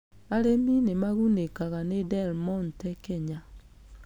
Arĩmi nĩ magunĩkaga nĩ Del Monte Kenya?